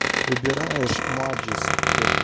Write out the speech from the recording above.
выбираешь маджиск вот этот